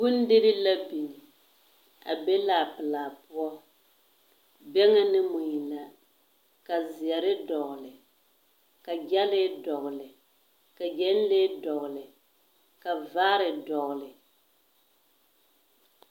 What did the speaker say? Bondirii la biŋ, a be laapelaa poͻ. Bԑŋԑ ne mui la ka zeԑre dogele ka gyԑlee dogele ka gyԑnlee dogele ka vaare dogele.